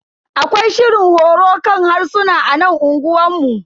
Akwai shirin horo kan harsuna a nan unguwanmu.